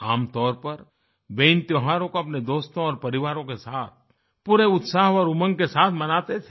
आमतौर पर वे इन त्योहारों को अपने दोस्तों और परिवारों के साथ पूरे उत्साह और उमंग के साथ मनाते थे